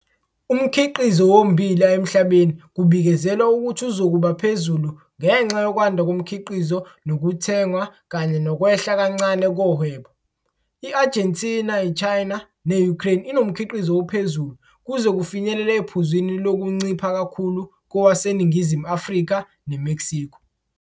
Umkhiqizo wommbila emhlabeni kubikezelwa ukuthi uzokuba phezulu ngenxa yokwanda komkhiqizo nokuthengwa kanye nokwehla kancane kohwebo. I-Argentina, i-China ne-Ukraine inomkhiqizo ophezulu kuze kufinyelele ephuzwini lokuncipha kakhulu kowaseNingizimu Afrika ne-Mexico.